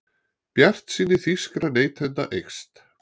Bjartsýni þýskra neytenda eykst